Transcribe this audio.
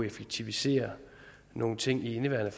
effektivisere nogle ting i indeværende